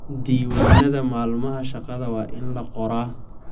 Diiwaanada maalmaha shaqada waa in la qoraa.